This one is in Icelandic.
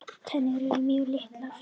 Tennur eru mjög litlar.